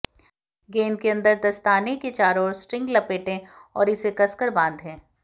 गेंद के अंदर दस्ताने के चारों ओर स्ट्रिंग लपेटें और इसे कसकर बांधें